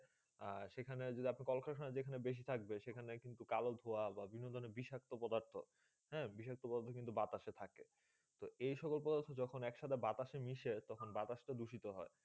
আর সেই খানে যেখানে কলকরখানা বেশি থাকবে সেই খানে কালো ধুয়া বা বিভন্ন ধরণে বিষক্ত পদার্থ হেঁ বিষক্ত পদার্থ কিন্তু বাতাসে থাকে তো এই সকল পর যখন এই সাথে বাতাসে সাথে মিশে তো বাতাস তো দূষিত হয়ে